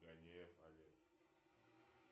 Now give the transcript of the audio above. гонеев олег